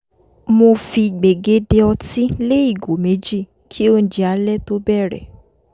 mo fi gbègéde ọtí lé ìgò méjì kí oúnjẹ alẹ́ tó bẹ̀rẹ̀